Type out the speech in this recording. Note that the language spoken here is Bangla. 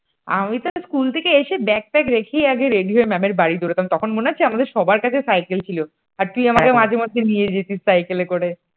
আমি তো school থেকে এসেই ব্যাকপ্যাক রেখেই আগে রেডি হয়ে ম্যামের বাড়ি দৌড়াতাম তখন মনে আছে আমাদের সবার কাছে সাইকেল ছিল। আর তুই আমাকে মাঝে মধ্যে নিয়ে যেতিস সাইকেলে করে